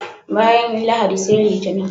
Bayan Lahadi sai Litinin.